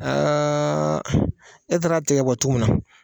Aa ne taara tigɛ ka bɔ tu min na